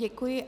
Děkuji.